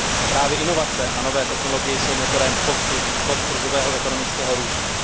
Právě inovace a nové technologie jsou motorem postkrizového ekonomického růstu.